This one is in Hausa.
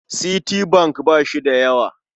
Citibank ba shi da yawa.